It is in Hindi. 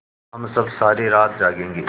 हम सब सारी रात जागेंगे